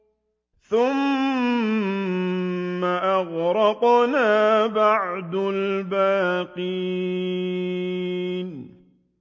ثُمَّ أَغْرَقْنَا بَعْدُ الْبَاقِينَ